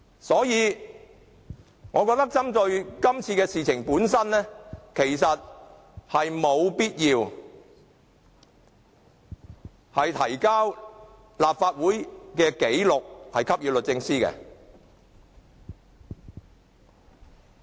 所以，我覺得就今次事件，沒有必要向律政司提交立法會紀錄。